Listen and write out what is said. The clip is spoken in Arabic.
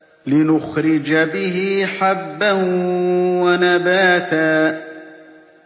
لِّنُخْرِجَ بِهِ حَبًّا وَنَبَاتًا